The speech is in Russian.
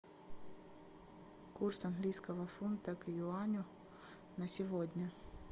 курс английского фунта к юаню на сегодня